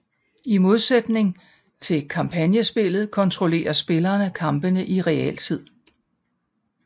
I modsætning til kampagnespilet kontrollerer spillerne kampene i realtid